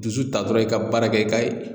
Dusu ta dɔrɔn i ka baarakɛ ka ye